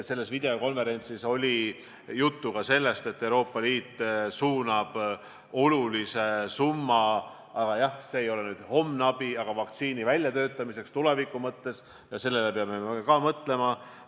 Sellel videokonverentsil oli juttu ka sellest, et Euroopa Liit suunab olulise summa vaktsiini väljatöötamisse – aga jah, see ei ole nüüd homne abi, vaid suunatud tulevikku –, ka sellele peame me mõtlema.